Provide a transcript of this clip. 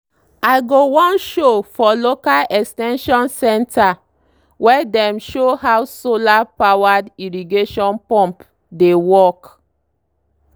i go one show for local ex ten sion centre wey dem show how solar-powered irrigation pump dey work.